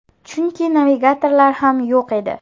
Chunki navigatorlar ham yo‘q edi!